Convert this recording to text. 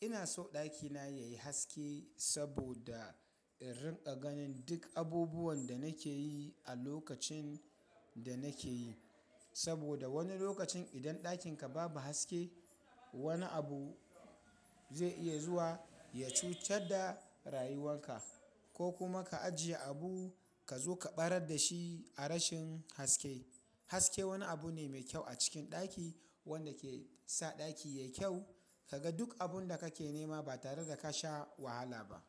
ina so ɗakina yayi haske saboda in riƙa ganin duk abubuwan da nake yi a lokacin da nake yi. Saboda wani lokacin idan ɗakin ka babu haske, wani abu zai iya zuwa ya cutar da rayuwan ka ko kuma ka ajiye abu ka zo ka ɓarar da shi a rashin haske. Haske wani abu ne mai kyau a cikin ɗaki wanda ke sa ɗaki yayi kyau. Ka ga duk abun da kake nema ba tare da ka sha wahala ba.